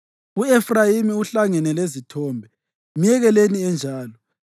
U-Efrayimi uhlangene lezithombe; myekeleni enjalo!